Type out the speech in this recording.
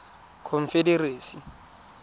confederacy